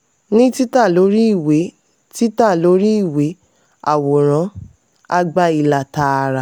ní títà lórí ìwé títà lórí ìwé àwòrán a gba ilà tààrà.